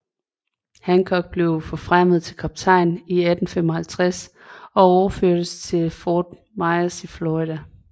Hancock blev forfremmet til kaptajn i 1855 og overførst til Fort Myers i Florida